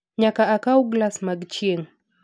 Nyaka akaw galas mag chieng'